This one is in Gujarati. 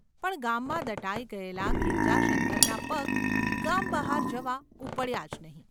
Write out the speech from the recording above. પણ ગામમાં દટાઈ ગયેલા ગિરજાશંકરના પગ ગામ બહાર જવા ઊપડ્યા જ નહિ!